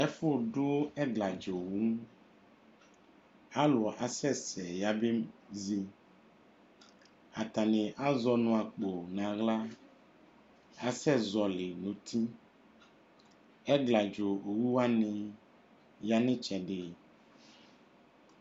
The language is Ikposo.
Ɛfʋdʋ ɛgladza owu Alʋ asɛsɛ yabezi Atanɩ azɛ ɔnʋ akpo nʋ aɣla asɛzɔɣɔlɩ nʋ uti Ɛgladza owu wanɩ ya nʋ ɩtsɛdɩ